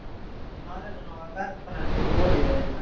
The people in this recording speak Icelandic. Faðir hennar er verkfræðingur í olíuiðnaði